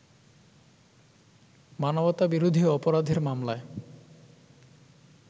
মানবতাবিরোধী অপরাধের মামলায়